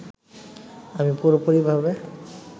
আমি পুরোপুরিভাবে